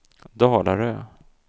Dalarö